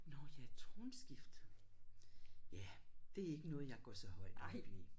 Nåh ja tronskiftet. Ja det er ikke noget jeg går så højt op i